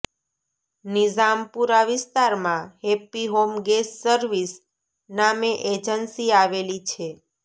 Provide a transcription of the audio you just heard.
નિઝામપુરા વિસ્તારમાં Happy Home Gas Service નામે agency આવેલી છે